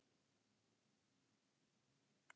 Gunnbjörg, hvernig verður veðrið á morgun?